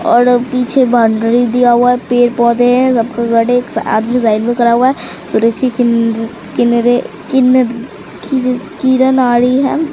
और पीछे बॉउंड्री दिया हुआ है पेड़ पौधे है किन किनरे किनर किर किरनाड़ी है।